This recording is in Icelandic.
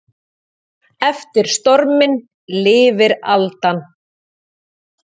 Eftir storminn lifir aldan.